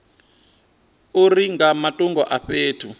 uri nga matungo a fhethu